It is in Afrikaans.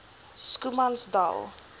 schoemansdal